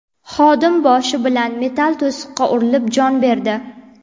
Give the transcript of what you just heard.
Xodim boshi bilan metall to‘siqqa urilib, jon berdi.